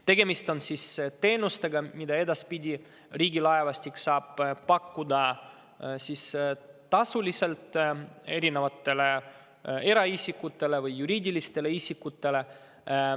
Tegemist on teenustega, mida edaspidi Riigilaevastik saab pakkuda tasuliselt kas eraisikutele või juriidilistele isikutele.